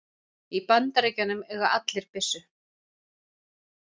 Í Bandaríkjunum eiga allir byssu.